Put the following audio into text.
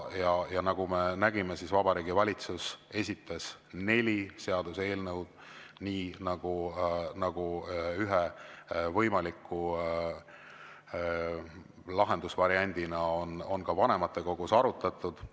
Ja nagu me nägime, Vabariigi Valitsus esitas neli seaduseelnõu, nii nagu ühe võimaliku lahendusvariandina on vanematekogus arutatud.